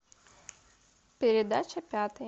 передача пятый